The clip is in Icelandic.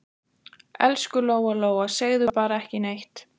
Elsku Lóa Lóa, segðu bara ekki neitt.